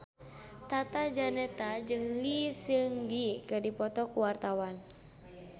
Tata Janeta jeung Lee Seung Gi keur dipoto ku wartawan